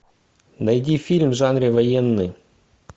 найди фильм в жанре военный